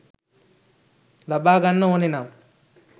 ලබා ගන්න ඕනෙනම්